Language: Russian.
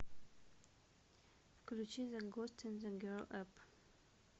включи зе гост ин зе гел эп